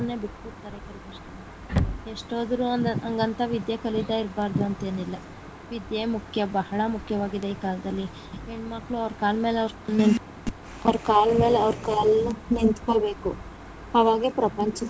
ಬಿಟ್ ಬಿಡ್ತಾರೆ ಕೆಲವರು ಎಷ್ಟು ಓದಿದರೂ ಅಂಗಂತ ವಿದ್ಯೆ ಕಲಿತಾ ಇರ್ಬಾರ್ದು ಅಂತ ಇಲ್ಲ ವಿದ್ಯೆ ಮುಖ್ಯ ಬಹಳ ಮುಖ್ಯವಾಗಿದೆ ಈ ಕಾಲದಲ್ಲಿ ಹೆಣ್ಣಮಕ್ಕಳು ಅವ್ರ ಕಾಲ ಮೇಲೆ ಅವ್ರ ಕಾಲ ಮೇಲೆ ಕಾಲ್ ನಿಂತಕೋ ಬೇಕು ಅವಾಗ ಪ್ರಪಂಚ.